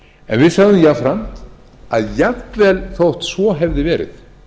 en við sögðum jafnframt að jafnvel þótt svo hefði verið